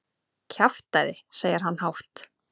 Kjaftæði, segir hann hátt.